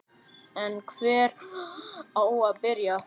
En hvar á að byrja?